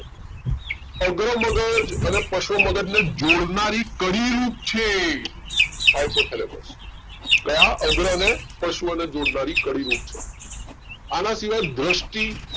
અગ્ર મગજ અને પશ્વ મગજને જોડનારી કડીરૂપ છે hypothalamus કયા અગ્ર અને પશ્વ ને જોડનારી કડીરૂપ છે આના સિવાય દ્રષ્ટિ